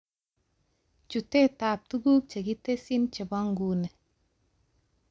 Chutetab tuguk chekitesyii chebonguni